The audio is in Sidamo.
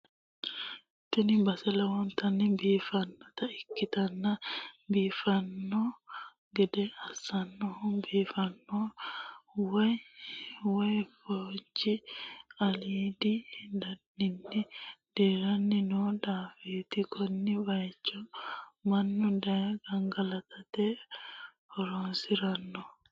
tini base lowontanni biiffannota ikkitanna, biiffanno gede assannohu biifanno waay woy foonchi aliidinni daaddanni dirranni noo daafooti, konne bayicho mannu daye gangalatate horonsi'ranno.